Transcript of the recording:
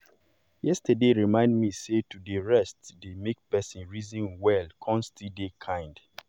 yesterday remind me sey to dey rest dey make person reason well kon still dey kind